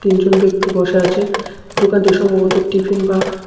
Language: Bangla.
দুজন ব্যক্তি বসে আছে দোকানটি সম্ভবত টিফিন বা--